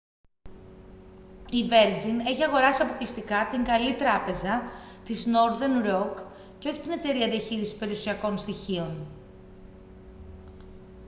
η βέρτζιν έχει αγοράσει αποκλειστικά την «καλή τράπεζα» της νόρθερν ροκ και όχι την εταιρεία διαχείρισης περιουσιακών στοιχείων